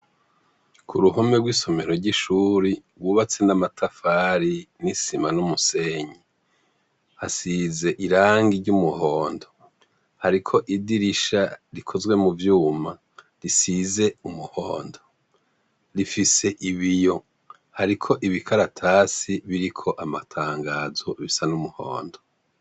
Ku ruhome rw'isomero ry'ishuri wubatse n'amatafari n'isima n'umusenyi asize irangi ry'umuhondo, ariko idirisha rikozwe mu vyuma risize umuhondo rifise ibiyo, ariko ibikaratasi biriko amatangazo bisa n'umuhondo.